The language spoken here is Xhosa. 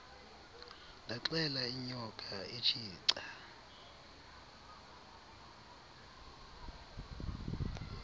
ndaxela inyoka etshica